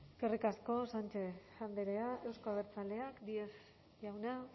eskerrik asko sánchez andrea euzko abertzaleak díez jauna